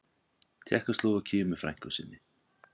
Tékkóslóvakíu með frænku sinni.